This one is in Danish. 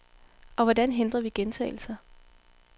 Og hvordan hindrer vi gentagelser.